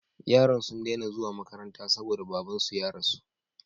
Yaran sun dai na zuwa makaranta saboda baban su ya rasu